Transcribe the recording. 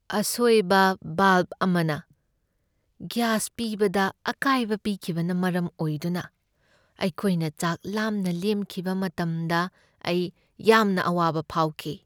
ꯑꯁꯣꯏꯕ ꯚꯦꯜꯚ ꯑꯃꯅ ꯒ꯭ꯌꯥꯁ ꯄꯤꯕꯗ ꯑꯀꯥꯏꯕ ꯄꯤꯈꯤꯕꯅ ꯃꯔꯝ ꯑꯣꯏꯗꯨꯅ ꯑꯩꯈꯣꯏꯅ ꯆꯥꯛ ꯂꯥꯝꯅ ꯂꯦꯟꯈꯤꯕ ꯃꯇꯝꯗ ꯑꯩ ꯌꯥꯝꯅ ꯑꯋꯥꯕ ꯐꯥꯎꯈꯤ꯫